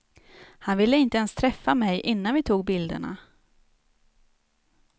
Han ville inte ens träffa mig innan vi tog bilderna.